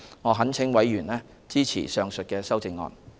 我懇請委員支持上述修正案。